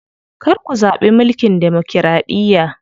Kar ku zaɓi mulkin demokiraɗiya.